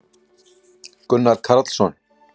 gunnar karlsson